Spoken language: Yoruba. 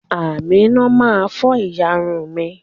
Aminat ma fọ ìyárún mi.